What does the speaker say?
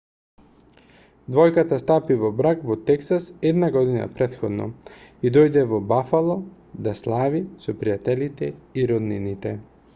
двојката стапи во брак во тексас една година претходно и дојде во бафало да слави со пријателите и роднините